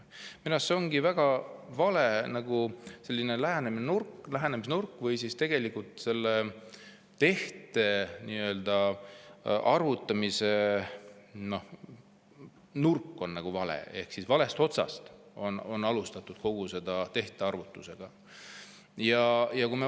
Minu arust see on nagu väga vale lähenemisnurk, selle tehte arvutamise nurk on vale ehk valest otsast on alustatud kogu seda.